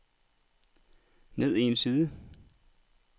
ned en side